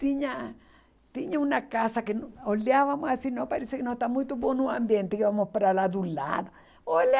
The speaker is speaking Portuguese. Tinha tinha uma casa que no olhávamos assim, parecia que não está muito bom o ambiente, íamos para lá do lado, olhá.